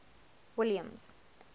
williams